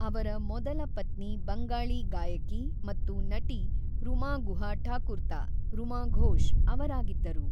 ಅವರ ಮೊದಲ ಪತ್ನಿ ಬಂಗಾಳಿ ಗಾಯಕಿ ಮತ್ತು ನಟಿ ರುಮಾ ಗುಹಾ ಠಾಕುರ್ತಾ (ರುಮಾ ಘೋಷ್) ಅವರಾಗಿದ್ದರು.